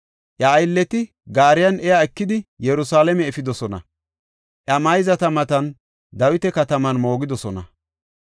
Iya aylleti gaariyan iya ekidi, Yerusalaame efidosona; iya mayzata matan Dawita Kataman moogidosona.